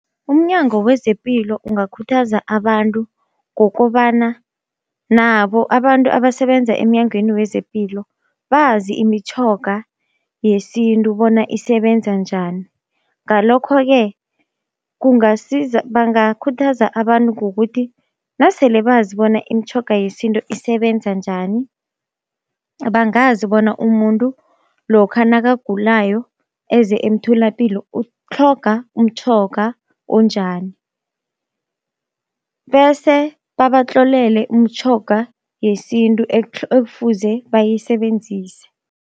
UmNyango wezePilo ungakhuthaza abantu ngokobana nabo abantu abasebenza emnyangweni wezepilo bazi imitjhoga yesintu bona isebenza njani. Ngalokho-ke kungasiza bangakhuthaza abantu ngokuthi nasele bazi bona imitjhoga yesintu isebenza njani, bangazi bona umuntu lokha nakagulayo eze emtholapilo utlhoga umtjhoga onjani, bese babatlolele umtjhoga yesintu ekufuze bayisebenzise.